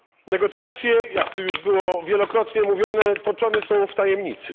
Negocjacje, jak to już było wielokrotnie mówione, toczone są w tajemnicy.